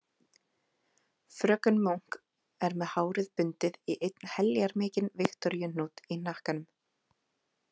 Fröken Munk er með hárið bundið í einn heljarmikinn Viktoríuhnút í hnakkanum.